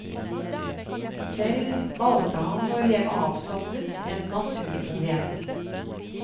Selv valgte han å leve avsondret, en naturbohem.